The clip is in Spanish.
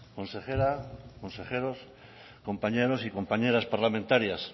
consejera y consejeros compañeros y compañeras parlamentarias